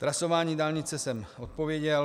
Trasování dálnice jsem odpověděl.